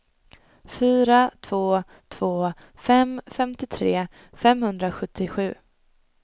fyra två två fem femtiotre femhundrasjuttiosju